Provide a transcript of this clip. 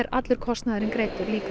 allur kostnaðurinn greiddur líka